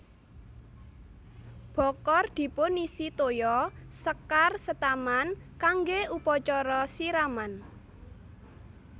Bokor dipunisi toya sekar setaman kanggè upacara siraman